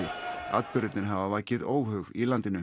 atburðirnir hafa vakið óhug í landinu